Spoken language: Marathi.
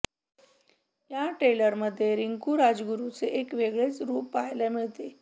या ट्रेलरमध्ये रिंकू राजगुरुचे एक वेगळेच रुप पाहायला मिळते